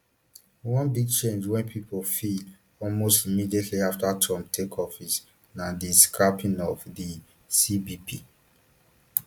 one big change wey pipo feel almost immediately afta trump take office na di scrapping of di cbp